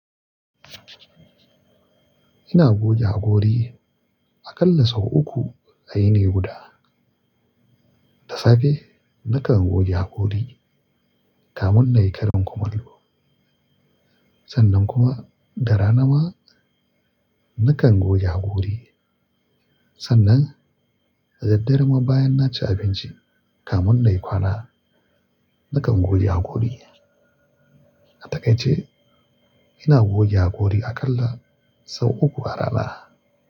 Ina goge haƙori aƙalla sau uku a yini guda. Da safe nakan goge haƙori kamun na yi karen kumallo. Sannan kuma da rana ma nakan goge haƙori. Sannan da daddare ma bayan na ci abinci kamun na yi kwana nakan goge haƙori. Atakaice. Ina goge haƙori aƙalla sau uku a rana.